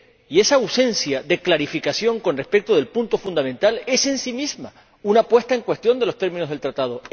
Y esa ausencia de clarificación con respecto al punto fundamental es, en sí misma, una puesta en cuestión de los términos del Acuerdo.